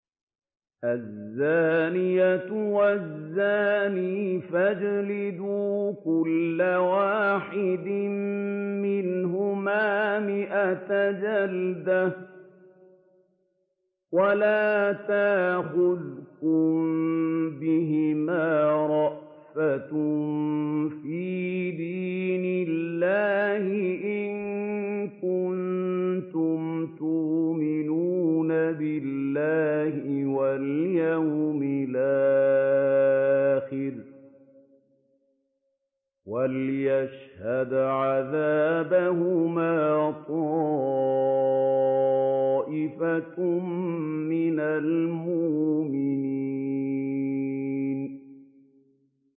الزَّانِيَةُ وَالزَّانِي فَاجْلِدُوا كُلَّ وَاحِدٍ مِّنْهُمَا مِائَةَ جَلْدَةٍ ۖ وَلَا تَأْخُذْكُم بِهِمَا رَأْفَةٌ فِي دِينِ اللَّهِ إِن كُنتُمْ تُؤْمِنُونَ بِاللَّهِ وَالْيَوْمِ الْآخِرِ ۖ وَلْيَشْهَدْ عَذَابَهُمَا طَائِفَةٌ مِّنَ الْمُؤْمِنِينَ